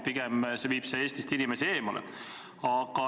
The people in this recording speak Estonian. Pigem viib see Eestist inimesi ära.